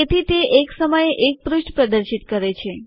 તેથી તે એક સમયે એક પૃષ્ઠ પ્રદર્શિત કરે છે